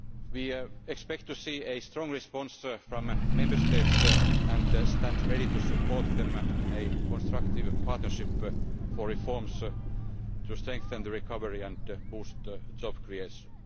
We expect to see a strong response from the Member States, and we stand ready to support them in a constructive partnership for reforms to strengthen the recovery and boost job creation.